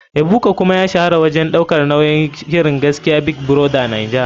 Ebuka kuma ya shahara wajen daukar nauyin shirin gaskiya big brother naija.